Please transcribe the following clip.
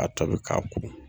A tɔbi k'a ko